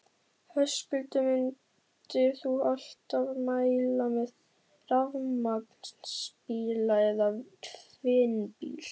Höskuldur: Myndir þú alltaf mæla með rafmagnsbíla eða tvinnbíl?